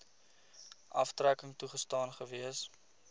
aftrekking toegestaan gewees